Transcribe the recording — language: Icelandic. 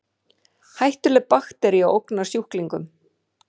Hættuleg baktería ógnar sjúklingum